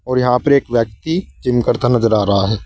और यहां पर एक व्यक्ति जिम करता नजर आ रहा है।